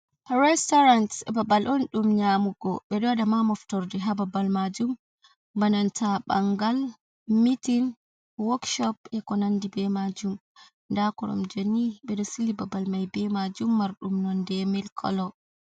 Restorant babal on ɗum nyamugo ɓeɗo waɗa ma moftorde ha babal majum bananta bangal, mitin, wokshop e ko nandi be majum, nda koromjeni ɓeɗo sili babal mai be majum marɗum nonde mil kolo.